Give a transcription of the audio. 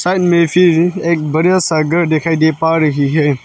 Side में भी एक घर दिखाई दे पा रही है।